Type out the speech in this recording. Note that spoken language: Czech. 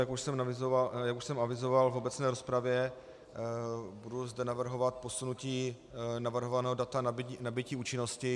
Jak už jsem avizoval v obecné rozpravě, budu zde navrhovat posunutí navrhovaného data nabytí účinnosti.